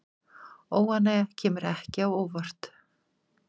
Óánægja kemur ekki á óvart